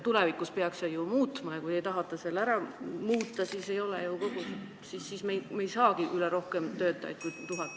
Tulevikus peaks see ju muutuma, aga kui te tahate selle nüüd ära muuta, siis meil ei tekigi neid inimesi rohkem kui tuhat.